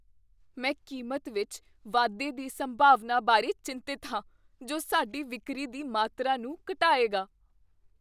ਮੈਂ ਕੀਮਤ ਵਿੱਚ ਵਾਧੇ ਦੀ ਸੰਭਾਵਨਾ ਬਾਰੇ ਚਿੰਤਤ ਹਾਂ ਜੋ ਸਾਡੀ ਵਿਕਰੀ ਦੀ ਮਾਤਰਾ ਨੂੰ ਘਟਾਏਗੀ।